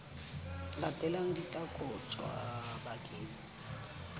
latelang di tla kotjwa bakeng